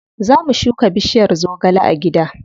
Za mu shuka bishiyar zogale a gida.